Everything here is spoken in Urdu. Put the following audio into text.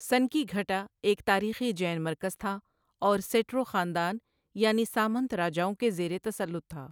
سنکیگھٹہ ایک تاریخی جین مرکز تھا اور سیٹرو خاندان یعنی سامنت راجاؤں کے زیر تسلط تھا۔